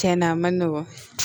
Cɛn na a ma nɔgɔn